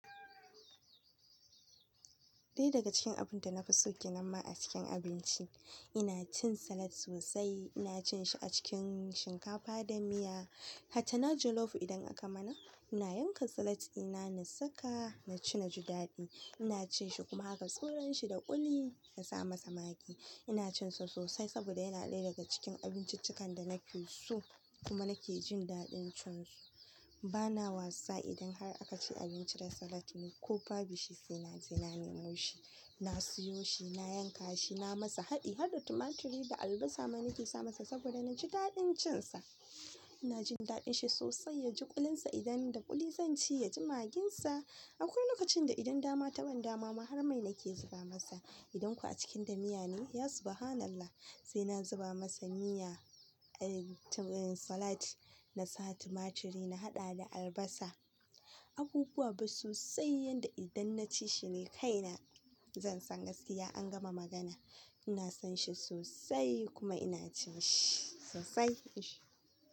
Ɗaya daga cikin abin da na fi son ginamma a cikin abinci, ina cin salad sosai. Ina cin shi a cikin shinkafa da miya. Hatta na jollof idan aka mana, ina yanka salad ina na saka na ci, na ji daɗi. Ina cin shi kuma haka tsuranshi da ƙuli na sa masa magi. Ina cin sa sosai saboda yana ɗaya daga cikin abinciccikan da na fi so kuma nake jin daɗin cin su. Ba na wasa idan har aka ci abinci da salad ne ko babu shi sai na je na nemo shi. Na siyo shi, na yanka shi, na masa haɗi har da tumaturi da albasa man ke sa masa saboda na ji daɗin cin sa. Na jin daɗin shi sosai, ya ji ƙulunsa idan da ƙuli zan ci ya ji magin sa. Akwai lokacin da idan dama ta ban dama, maharmai nake zuba masa. Idan kuwa a cikin da miya ne, ya subhanallah! Sai na zuba masa miya, eh salad na sa tumaturi na haɗa da albasa. Abubuwa ba sosai yanda idan na ci shi ne kaina. Zan san gaskiya an gama magana. Ina son shi sosai kuma ina cin shi sosai. Ish!